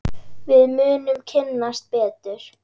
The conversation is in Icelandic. Við munum kynnast betur.